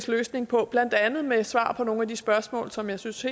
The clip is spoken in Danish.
løsning på blandt andet med svar på nogle af de spørgsmål som jeg synes